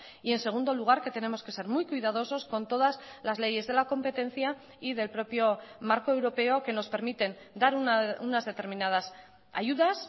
y en segundo lugar que tenemos que ser muy cuidadosos con todas las leyes de la competencia y del propio marco europeo que nos permiten dar unas determinadas ayudas